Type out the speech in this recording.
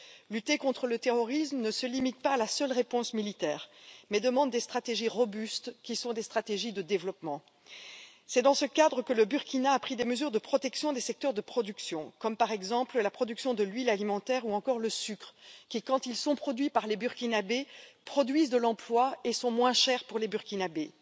Lutter contre le terrorisme ne se limite pas à la seule réponse militaire, mais demande des stratégies robustes qui sont des stratégies de développement. C'est dans ce cadre que le Burkina a pris des mesures de protection des secteurs de production, comme la production de l'huile alimentaire ou encore le sucre qui, quand ils sont produits par les Burkinabè, produisent de l'emploi et sont moins chers pour les Burkinabè.